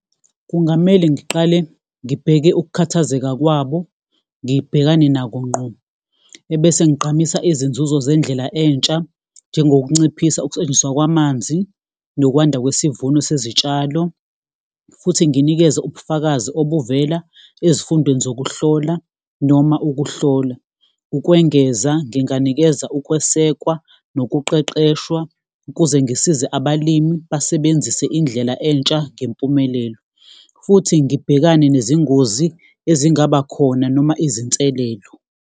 Kungamele ngiqale ngibheke ukukhathazeka kwabo, ngibhekane nako ngqo, ebese ngigqamisa izinzuzo zendlela entsha. Njengokunciphisa ukusetshenziswa kwamanzi, nokwanda kwesivuno sezitshalo, futhi nginikeze ubufakazi obuvela ezifundweni zokuhlola noma ukuhlola. Ukwengeza, nginganikeza ukwesekwa nokuqeqeshwa ukuze ngisize abalimi basebenzise indlela entsha ngempumelelo, futhi ngibhekane nezingozi ezingaba khona noma izinselelo.